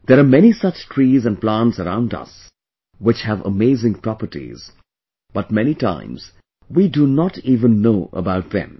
There are many such trees and plants around us, which have amazing properties, but many times we do not even know about them